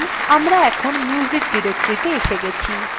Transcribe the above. এখন দেখুন আমরা music directory see see গেছি